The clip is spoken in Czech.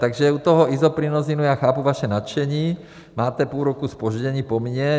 Takže u toho Isoprinosinu já chápu vaše nadšení, máte půl roku zpoždění po mně.